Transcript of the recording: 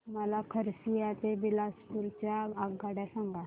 मला खरसिया ते बिलासपुर च्या आगगाड्या सांगा